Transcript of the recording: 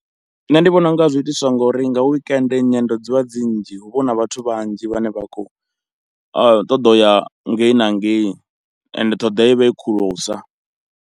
Nṋe ndi vhona unga zwi itiswa ngori nga weekend nyendo dzivha dzi nnzhi, hu vha hu na vhathu vhanzhi vhane vha khou ṱoḓa u ya ngei na ngei and ṱhoḓeya i vha i khulusa.